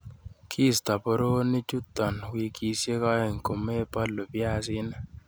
Kiisto boroonichuton wikisiek oeng komebolu biaisinik.